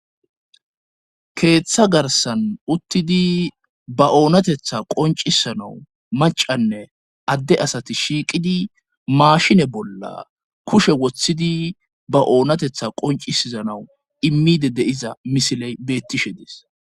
keeththa garsan uttidi ba oonatetha qoncisanawu macanne adde asati shiiqidi maashine bolla kushe woththidi ba oonatetha qoncisizanawu immide de7iza misiley beettishe dees